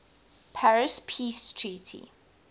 paris peace treaty